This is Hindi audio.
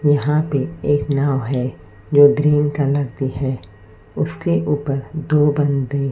यहां पे एक नाव है जो ग्रीन कलर की है उसके ऊपर दो बंदे--